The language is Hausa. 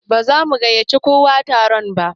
Ba za mu gaiyaci kowa taron mu ba